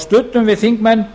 studdum við þingmenn